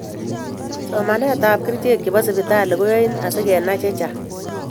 Somatetab kesichek chebo sipitali koyoi asigenai chechang